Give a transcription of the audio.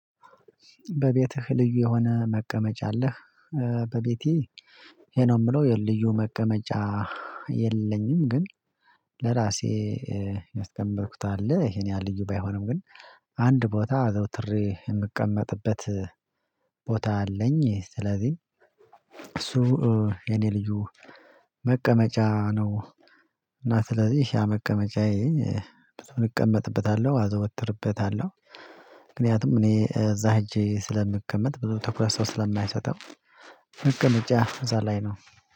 በቤትህ ልዩ የሆነ መቀመጫ አለህ? በቤቴ ይሄ ነው የምለው የልዩ መቀመጫ የለኝም ግን ለራሴ ያስቀመጥኩት አለ ይሄን ያህል ልዩ ባይሆንም ግን አንድ ቦታ አዘውትሬ የምቀመጥበት ቦታ አለኝ ስለዚህ እሱ የኔ ልዩ መቀመጫ ነው እና ስለዚህ ያ መቀመጫዬ ብዙ እቀመጥበታለሁ አዘወትርበታለሁ ምክንያቱም እኔ እዛ ሄጄ ስለምቀመጥ ብዙ ትኩረት ሰው ስለማይሰጠው መቀመጫ እዛ ላይ ነው